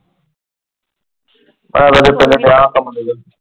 ,